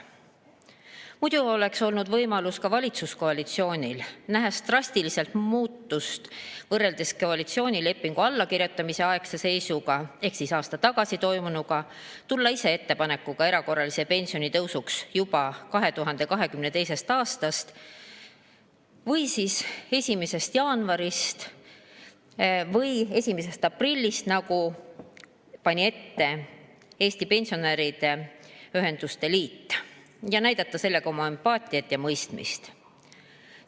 Muidu oleks olnud võimalus ka valitsuskoalitsioonil, nähes drastilist muutust võrreldes koalitsioonilepingu allakirjutamise aegse seisuga ehk siis aasta tagasi toimunuga, tulla ise erakorralise pensionitõusu ettepanekuga juba 2022. aasta 1. jaanuarist või 1. aprillist, nagu pani ette Eesti Pensionäride Ühenduste Liit, ja näidata sellega oma empaatiat ja mõistmist.